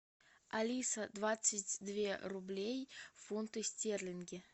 алиса двадцать две рублей в фунты стерлинги